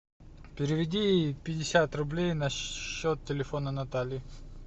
переведи пятьдесят рублей на счет телефона натальи